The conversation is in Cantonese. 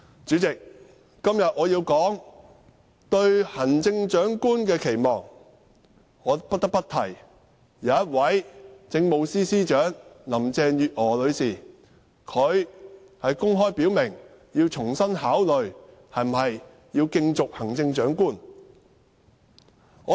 主席，我今天要說對行政長官的期望，我不得不提政務司司長林鄭月娥女士，她公開表明重新考慮是否競逐行政長官。